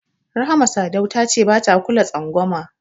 Rahama Sadau ta ce bata kula twangwama.